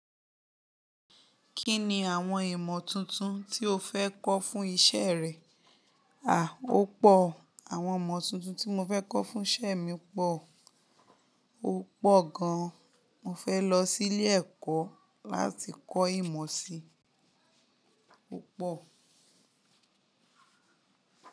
Kí ni àwọn ìmọ̀ tuntun tí o fẹ́ kọ́ fún isẹ́ rẹ? À, ó pọ̀. Àwọn ìmọ̀ tuntun tí mo fẹ́ kọ́ fún isẹ́ mi pọ̀. Ó pọ̀ gan. Mo fẹ́ lọ sí ilé ẹ̀kọ́ láti kọ́ ìmọ̀ si. Ó pọ̀